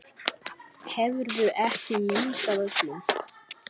Hefurðu ekki minnst af öllum?